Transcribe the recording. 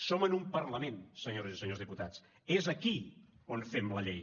som en un parlament senyores i senyors diputats és aquí on fem la llei